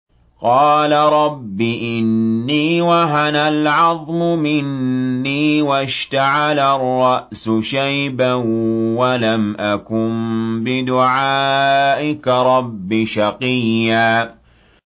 قَالَ رَبِّ إِنِّي وَهَنَ الْعَظْمُ مِنِّي وَاشْتَعَلَ الرَّأْسُ شَيْبًا وَلَمْ أَكُن بِدُعَائِكَ رَبِّ شَقِيًّا